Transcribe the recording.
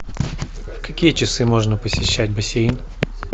в какие часы можно посещать бассейн